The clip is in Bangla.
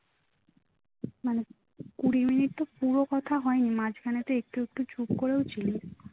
মানে কুড়ি মিনিট তো পুরো কথা হয়নি মাঝখানে তো একটু একটু চুপ করেও ছিলি